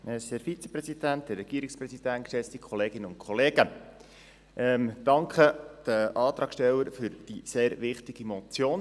Ich danke den Antragstellern für die sehr wichtige Motion.